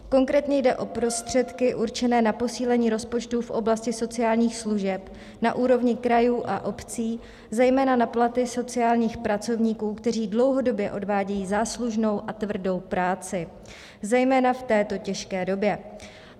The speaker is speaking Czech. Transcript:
Konkrétně jde o prostředky určené na posílení rozpočtu v oblasti sociálních služeb na úrovni krajů a obcí, zejména na platy sociálních pracovníků, kteří dlouhodobě odvádějí záslužnou a tvrdou práci, zejména v této těžké době.